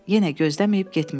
Yenə gözdəməyib getmişdi.